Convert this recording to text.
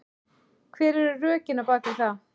Hver eru rökin á bakvið það?